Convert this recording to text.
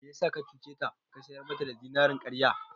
Me yasa ka cuce ta ka sayar mata da zinarin karya??